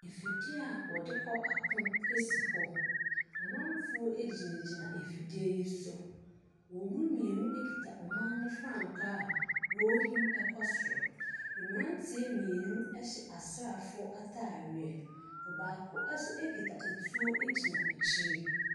Afidie a wɔde kɔ ako si hɔ, amanfo gyiagyina afidie yi so. Wɔn mu mmienu kita ɔman frankaa a wɔrehyim kɔ soro. Amanfo mmienu ɛhyɛ asrafo ataadeɛ. Ɔbaako nso kita nsuo gyina akyire.